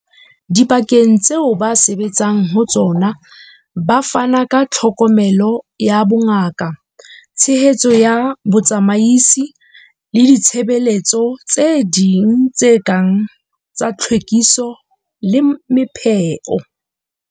Dibakeng tseo ba sebetsang ho tsona ba fana ka tlhokomelo ya bongaka, tshehetso ya botsamaisi le ditshebeletso tse ding tse kang tsa tlhwekiso le mepheo.